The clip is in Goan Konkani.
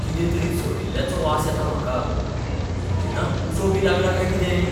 कितें तरी जळिल्ल्याचो वास येता म्हाका. इंजिनाक उजो बी लागला काय कितें?